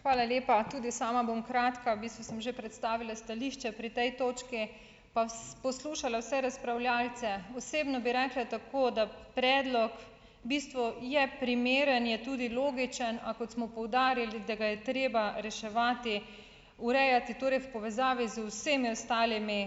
Hvala lepa. Tudi sama bom kratka. V bistvu sem že predstavila stališče pri tej točki, pa poslušala vse razpravljavce. Osebno bi rekla tako, da predlog v bistvu je primeren, je tudi logičen, a kot smo poudarili, da ga je treba reševati, urejati, torej v povezavi z vsemi ostalimi,